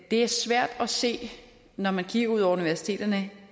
er svært at se når man kigger ud over universiteterne